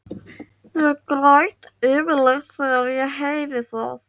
Ég græt yfirleitt þegar ég heyri það.